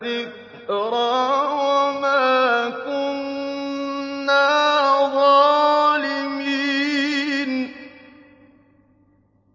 ذِكْرَىٰ وَمَا كُنَّا ظَالِمِينَ